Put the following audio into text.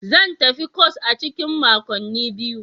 Zan tafi kwas a cikin makonni biyu.